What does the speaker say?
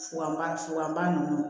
Fuganba suganba ninnu